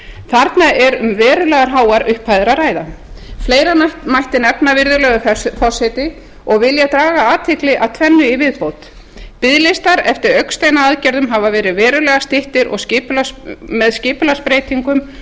þarna er um verulega háar upphæðir að ræða fleira mætti nefna virðulegur forseti og vil ég draga athygli að tvennu í viðbót biðlistar eftir augnsteinaaðgerðum hafa verið verulega styttir með skipulagsbreytingum